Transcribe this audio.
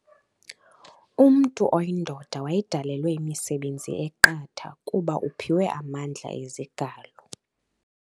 Umntu oyindoda wayedalelwe imisebenzi eqatha kuba uphiwe amandla ezigalo.